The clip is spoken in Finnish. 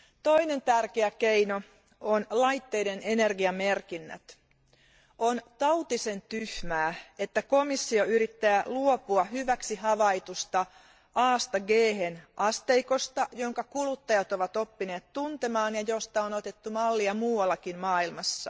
Toinen tärkeä keino on laitteiden energiamerkinnät. On tautisen tyhmää, että komissio yrittää luopua hyväksi havaitusta Asta Ghen asteikosta, jonka kuluttajat ovat oppineet tuntemaan ja josta on otettu mallia muuallakin maailmassa.